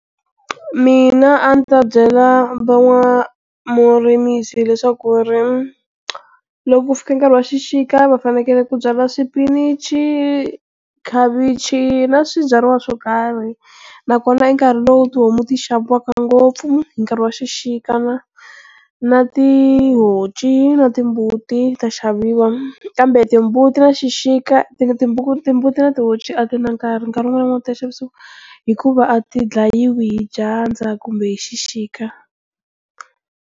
Mina a ni ta byela van'wamurimisi leswaku ri loko ku fika nkarhi wa xixika va fanekele ku byala swipinichi, khavichi na swibyariwa swo karhi nakona i nkarhi lowu tihomu ti xaviwaka ngopfu hi nkarhi wa xixika na na tihonci na timbuti ta xaviwa kambe timbuti na xixika ti timbuti na ti honci a ti na nkarhi nkarhi wun'wana na wun'wana ta xavisiwa, hikuva a ti dlayiwi hi dyandza kumbe hi xixika.